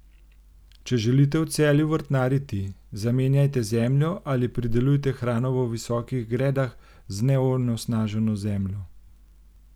Če želite v Celju vrtnariti, zamenjajte zemljo ali pridelujte hrano v visokih gredah z neonesnaženo zemljo!